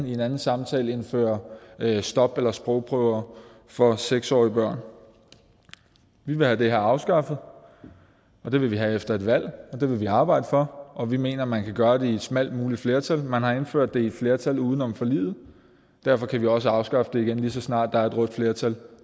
i en anden sammenhæng indfører stop eller sprogprøver for seks årige børn vi vil have det her afskaffet og det vil vi have efter et valg og det vil vi arbejde for og vi mener at man kan gøre det med et smalt muligt flertal man har indført det med et flertal uden om forliget og derfor kan vi også afskaffe det igen lige så snart der er et rødt flertal